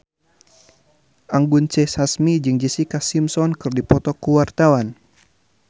Anggun C. Sasmi jeung Jessica Simpson keur dipoto ku wartawan